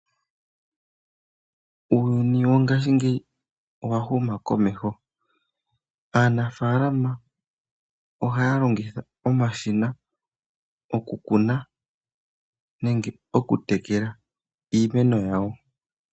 Uuyuni wongashi ngeyi owa huma komeho, aanafalama ohaya longitha omashina oku kuna nenge oku tekela iimeno yawo.